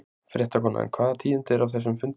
Fréttakona: En hvaða tíðindi eru af þessum fundi?